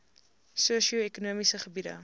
sosio ekonomiese gebiede